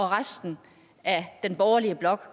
resten af den borgerlige blok